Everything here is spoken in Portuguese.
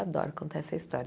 Adoro contar essa história.